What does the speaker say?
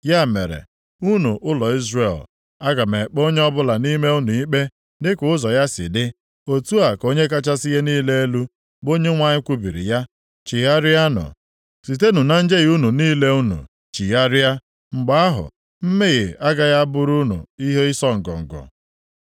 “Ya mere, unu ụlọ Izrel, aga m ekpe onye ọbụla nʼime unu ikpe dịka ụzọ ya si dị, otu a ka Onye kachasị ihe niile elu, bụ Onyenwe anyị kwubiri ya. Chegharịanụ, sitenụ na njehie unu niile unu chigharịa, mgbe ahụ, mmehie agaghị a bụrụ unu ihe ịsọ ngọngọ.